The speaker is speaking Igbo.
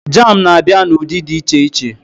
Jam na-abịa n'ụdị dị iche iche